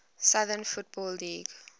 southern football league